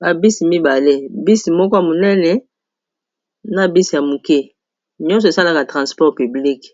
babisi mibale bisi moko ya monene na bisi ya moke nyonso esalaka transport publike